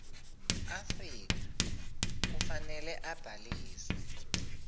afrika kufanele abhaliswe